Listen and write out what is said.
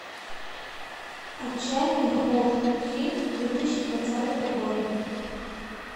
отчаянный ход фильм две тысячи двадцатого года